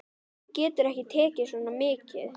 Hann getur ekki tekið svo mikið.